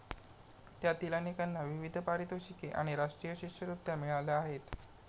त्यातील अनेकांना विविध पारितोषिके आणि राष्ट्रीय शिष्यवृत्त्या मिळाल्या आहेत.